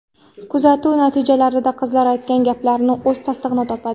Kuzatuv natijalarida qizlar aytgan gaplar o‘z tasdig‘ini topadi.